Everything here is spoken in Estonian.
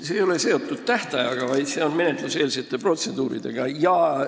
See ei ole seotud tähtajaga, vaid menetluseelsete protseduuridega.